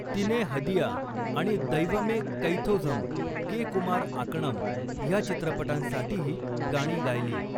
तिने हदिया आणि दैवमे कैथोझम के.कुमार आकणम ह्या चित्रपटांसाठीही गाणी गायली.